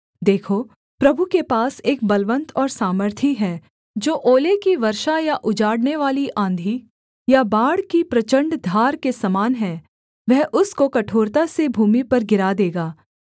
देखो प्रभु के पास एक बलवन्त और सामर्थी है जो ओले की वर्षा या उजाड़नेवाली आँधी या बाढ़ की प्रचण्ड धार के समान है वह उसको कठोरता से भूमि पर गिरा देगा